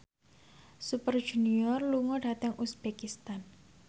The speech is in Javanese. Super Junior lunga dhateng uzbekistan